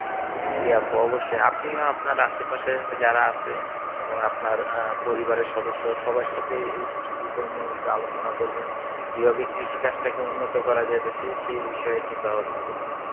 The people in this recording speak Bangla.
জী আপু অবশ্যই. আপনিও আপনার আশেপাশে যারা আছে এবং আপনার আহ পরিবারের সদস্য সবার সাথেই এই বিষয় নিয়ে একটু আলোচনা করবেন কীভাবে কৃষিকাজটা কে উন্নত করা যায় দেশে সেই বিষয়ে চিন্তা ভাবনা করবেন